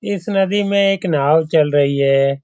इस नदी में एक नाव चल रही है।